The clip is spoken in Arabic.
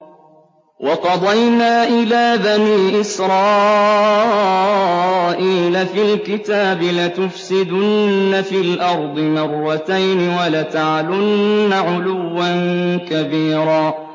وَقَضَيْنَا إِلَىٰ بَنِي إِسْرَائِيلَ فِي الْكِتَابِ لَتُفْسِدُنَّ فِي الْأَرْضِ مَرَّتَيْنِ وَلَتَعْلُنَّ عُلُوًّا كَبِيرًا